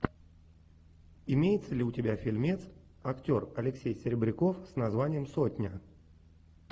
имеется ли у тебя фильмец актер алексей серебряков с названием сотня